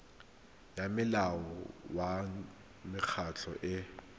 ya molao wa mekgatlho e